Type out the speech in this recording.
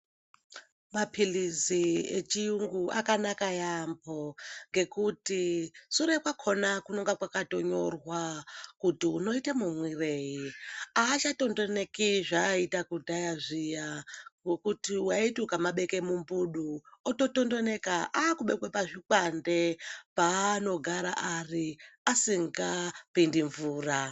Mapilizi echiyingu akanaka yaampo ngekuti sure kwakhona kunenge kwakatonyorwa kuti unoite mumwirei aachatondoneki zvaaita kudhaya zviya ngekutu waiti ukamabeke mumbudu ototondoneka akubekwe pazvikwande paanogara ari asingapindi mvura.